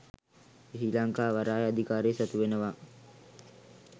ශ්‍රී ලංකා වරාය අධිකාරිය සතු වෙනවා